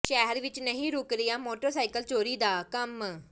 ਸ਼ਹਿਰ ਵਿਚ ਨਹੀਂ ਰੁਕ ਰਿਹਾ ਮੋਟਰਸਾਈਕਲ ਚੋਰੀ ਦਾ ਕੰਮ